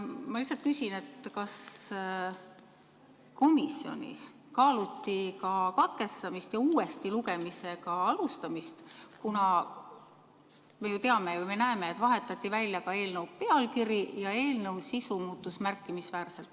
Ma lihtsalt küsin, kas komisjonis kaaluti ka katkestamist ja uuesti lugemise alustamist, kuna me ju teame ja näeme, et vahetati välja ka eelnõu pealkiri ja eelnõu sisu muutus märkimisväärselt.